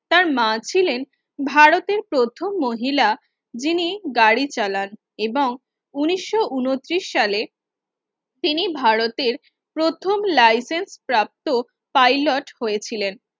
তার মা ছিলেন ভারতের প্রথম মহিলা যিনি গাড়ি চালান এবং উনিশশো উনতিরিশ সালে তিনি ভারতের প্রথম Licence প্রাপ্ত Pilot হয়েছিলেন